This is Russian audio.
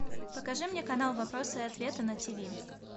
покажи мне канал вопросы и ответы на тв